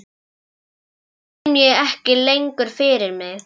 Hinum kem ég ekki lengur fyrir mig.